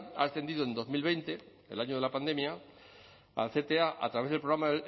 ha ascendido en dos mil veinte el año de la pandemia al cta a través del programa